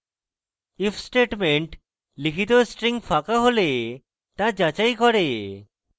if statement লিখিত string ফাঁকা হলে the যাচাই করে